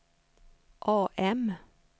AM